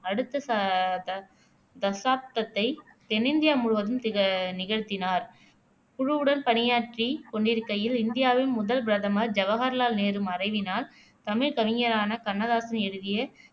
அடுத்த ச தா தசாப்தத்தை தென்னிந்தியா முழுவதும் திக நிகழ்த்தினார் குழுவுடன் பணியாற்றிக் கொண்டிருக்கையில் இந்தியாவின் முதல் பிரதமர் ஜவகர்லால் நேரு மறைவினால் தமிழ் கவிஞரான கண்ணதாசன் எழுதிய